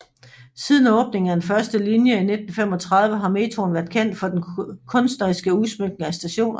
Siden åbningen af den første linje i 1935 har metroen været kendt for den kunstneriske udsmykning af stationerne